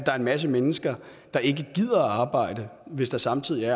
er en masse mennesker der ikke gider at arbejde hvis der samtidig